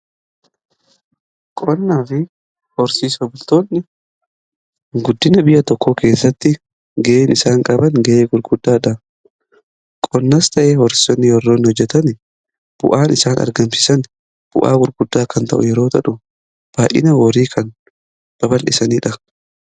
Qonnaa fi horsiisa bultoonni guddina biyya tokko keessatti ga'een isaan qaban ga'ee gurguddaadha. Qonnas ta'ee horsiisonni yeroo hojjetan bu'aan isaan argamsisan bu'aa gurguddaa kan ta'u yeroo baay'ina horii kan babalisaniidha.